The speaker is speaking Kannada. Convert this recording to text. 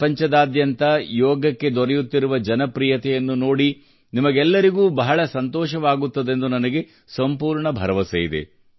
ಪ್ರಪಂಚದಾದ್ಯಂತ ಯೋಗಕ್ಕೆ ದೊರೆಯುತ್ತಿರುವ ಜನಪ್ರಿಯತೆಯನ್ನು ನೋಡಿ ನಿಮಗೆಲ್ಲರಿಗೂ ಬಹಳ ಸಂತೋಷವಾಗುತ್ತದೆಂದು ನನಗೆ ಸಂಪೂರ್ಣ ಭರವಸೆಯಿದೆ